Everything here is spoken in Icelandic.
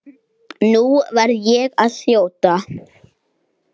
Nú verð ég að þjóta.